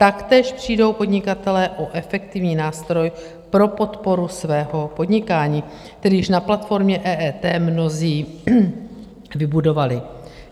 Taktéž přijdou podnikatelé o efektivní nástroj pro podporu svého podnikání, které již na platformě EET mnozí vybudovali.